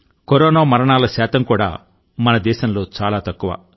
corona మరణాల రేటు కూడా మన దేశంలో చాలా తక్కువ